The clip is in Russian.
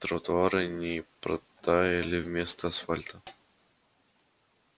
тротуары не протаяли вместо асфальта